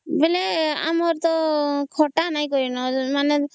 ବେଳେ ଆମର ତ ଖାତା ନାଇଁ ବେଳେ